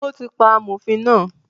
Ó ti pa “ amòfin” náà.